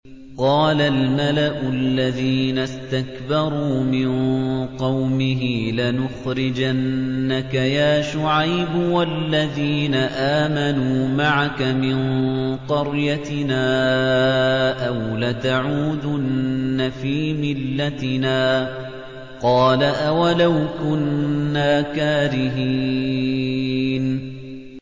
۞ قَالَ الْمَلَأُ الَّذِينَ اسْتَكْبَرُوا مِن قَوْمِهِ لَنُخْرِجَنَّكَ يَا شُعَيْبُ وَالَّذِينَ آمَنُوا مَعَكَ مِن قَرْيَتِنَا أَوْ لَتَعُودُنَّ فِي مِلَّتِنَا ۚ قَالَ أَوَلَوْ كُنَّا كَارِهِينَ